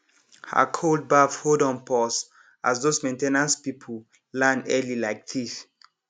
her cold baff hold on pause as those main ten ance people land early like thief